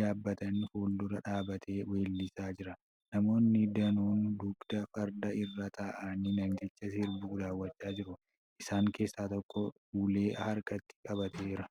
yaabbatan fuuldura dhaabbatee weellisaa jira. Namoonni danuun dugda fardaa irra taa'anii namticha sirbu daawwachaa jiru. Isaan keessaa tokko ulee harkatti qabateera.